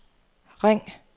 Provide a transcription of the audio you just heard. ring